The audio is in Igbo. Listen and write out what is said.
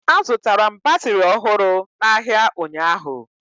Azụtara m batịrị ọhụrụ n'ahịa ụnyaahụ